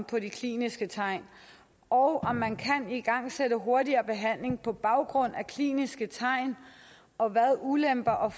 på de kliniske tegn og om man kan igangsætte hurtigere behandling på baggrund af kliniske tegn og hvad ulemperne og